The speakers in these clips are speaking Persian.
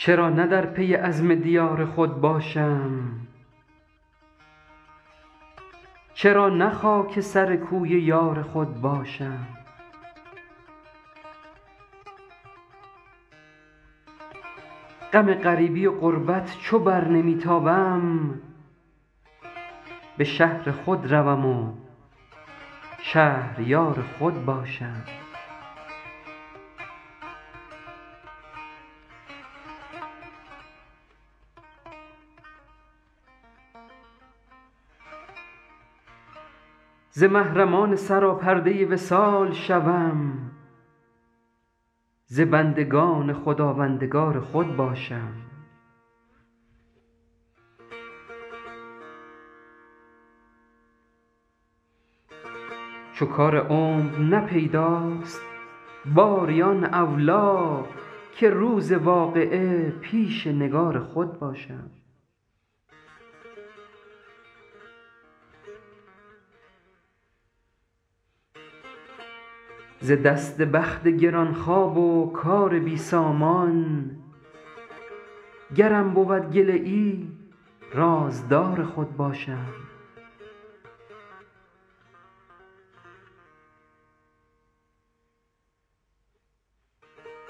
چرا نه در پی عزم دیار خود باشم چرا نه خاک سر کوی یار خود باشم غم غریبی و غربت چو بر نمی تابم به شهر خود روم و شهریار خود باشم ز محرمان سراپرده وصال شوم ز بندگان خداوندگار خود باشم چو کار عمر نه پیداست باری آن اولی که روز واقعه پیش نگار خود باشم ز دست بخت گران خواب و کار بی سامان گرم بود گله ای رازدار خود باشم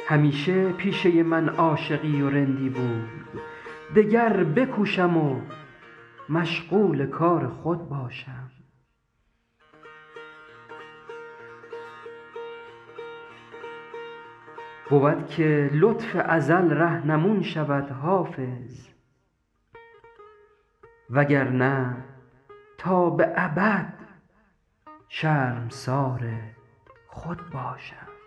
همیشه پیشه من عاشقی و رندی بود دگر بکوشم و مشغول کار خود باشم بود که لطف ازل رهنمون شود حافظ وگرنه تا به ابد شرمسار خود باشم